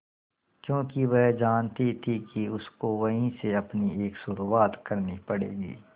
क्योंकि वह जानती थी कि उसको वहीं से अपनी एक शुरुआत करनी पड़ेगी